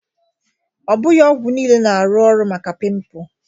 Ọ bụghị ọgwụ niile na-arụ ọrụ maka pimples